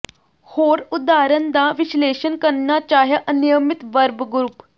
ਹੋਰ ਉਦਾਹਰਣ ਦਾ ਵਿਸ਼ਲੇਸ਼ਣ ਕਰਨਾ ਚਾਹਿਆ ਅਨਿਯਮਿਤ ਵਰਬ ਗਰੁੱਪ